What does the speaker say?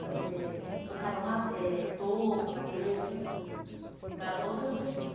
eh estocava ma eh toco, madeira, essas coisas, para outras pessoas.